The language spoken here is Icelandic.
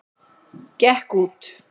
Gekk út!